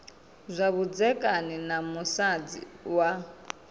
zwa vhudzekani na musadzi wa